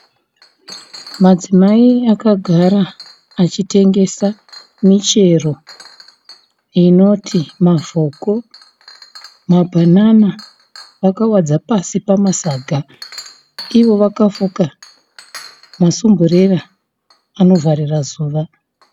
Madzimai akagara achitengesa michero inoti mavoko, mabhanana vakawadza pasi pamasaga ivo vakafuka masumburera anovharira zuva.